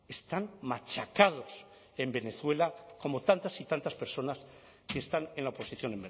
están machacados en venezuela como tantas y tantas personas que están en la oposición